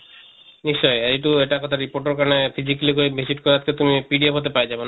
নিশ্চয় এইটো এটা কথা report ৰ কাৰণে physically গৈ visit কৰাতকে তুমি pdf তে পাই যাবা